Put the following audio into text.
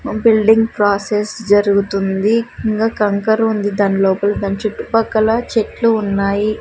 ఓ building process జరుగుతుంది ఇంకా కంకర ఉంది దాని లోపల దాని చుట్టుపక్కల చెట్లు ఉన్నాయి.